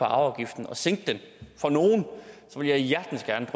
arveafgiften og sænke den for nogle vil jeg hjertens